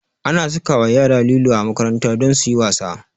Ana sakawa yara lilo a makaranta don suyi wasa